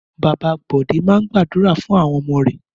Bàbá Bọ̀dé máa ń gbàdúrà fún àwọn ọmọ rẹ̀.